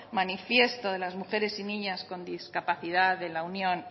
manifiesto de las mujeres y niñas con discapacidad de la unión